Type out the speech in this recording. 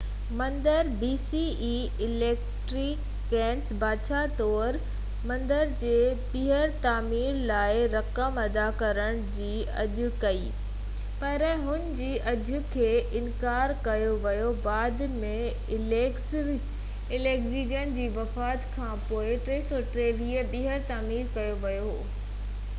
Alexander, بادشاهه طور، مندر جي ٻيهر تعمير لاءِ رقم ادا ڪرڻ جي آڇ ڪئي، پر هن جي آڇ کي انڪار ڪيو ويو بعد ۾، اليگزينڊر جي وفات کانپوءِ، 323 bce ۾ مندر ٻيهر تعمير ڪيو ويو هو